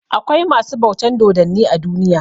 Akwai masu bautan dodanni a duniya.